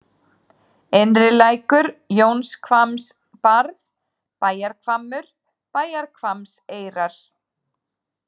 Innrilækur, Jónshvammsbarð, Bæjarhvammur, Bæjarhvammseyrar